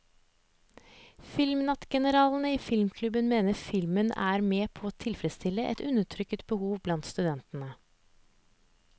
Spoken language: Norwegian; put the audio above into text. Filmnattgeneralene i filmklubben mener filmen er med på å tilfredsstille et undertrykt behov blant studentene.